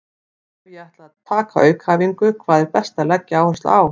Ef ég ætla að taka aukaæfingu, hvað er best að leggja áherslu á?